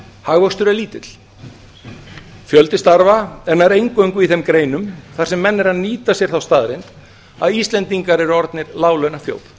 hagvöxtur er lítill fjölgun starfa er nær eingöngu í þeim greinum þar sem menn eru að nýta sér þá staðreynd að íslendingar eru orðin láglaunaþjóð